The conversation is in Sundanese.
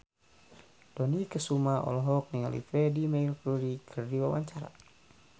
Dony Kesuma olohok ningali Freedie Mercury keur diwawancara